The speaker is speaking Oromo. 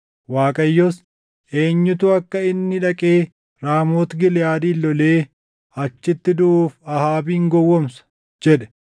Waaqayyos, ‘Eenyutu akka inni dhaqee Raamooti Giliʼaadin lolee achitti duʼuuf Ahaabin gowwoomsa?’ jedhe. “Inni tokko waan tokko jedha; inni kaan immoo waan biraa jedha.